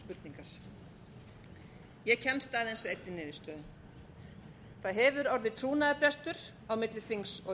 spurningar ég kemst aðeins að einni niðurstöðu það hefur orðið trúnaðarbrestur á milli þings og þjóðar